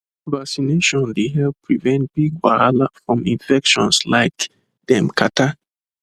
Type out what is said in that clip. vaccination dey help prevent big wahala from infecions like dem catarrh